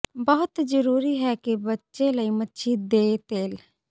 ਬਹੁਤ ਜ਼ਰੂਰੀ ਹੈ ਕਿ ਬੱਚੇ ਲਈ ਮੱਛੀ ਦੇ ਤੇਲ